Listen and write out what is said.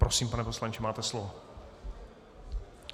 Prosím, pane poslanče, máte slovo.